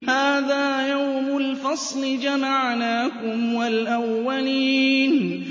هَٰذَا يَوْمُ الْفَصْلِ ۖ جَمَعْنَاكُمْ وَالْأَوَّلِينَ